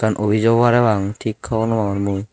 obijo o pare pang tik hobor nopangor mui.